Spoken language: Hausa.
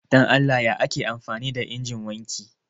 Dan Allah ya ake amfani da injin wanki